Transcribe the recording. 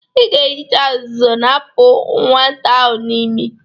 Ị ga-ehicha azụzụ na-apụta nwata a n'ime.